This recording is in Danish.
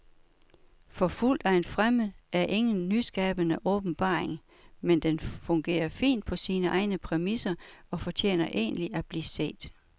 Forfulgt af en fremmed er ingen nyskabende åbenbaring, men den fungerer fint på sine egne præmisser og fortjener egentlig at blive set.